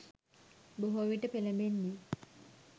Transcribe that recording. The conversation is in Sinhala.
බොහෝවිට පෙළඹෙන්නේ